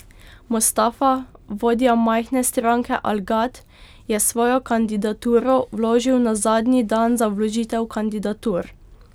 Mostafa, vodja majhne stranke Al Gad, je svojo kandidaturo vložil na zadnji dan za vložitev kandidatur.